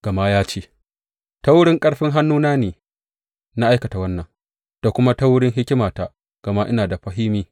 Gama ya ce, Ta wurin ƙarfin hannuna ne na aikata wannan, da kuma ta wurin hikimata, gama ina da fahimi.